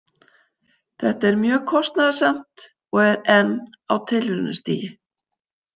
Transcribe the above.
Þetta er mjög kostnaðarsamt og er enn á tilraunastigi.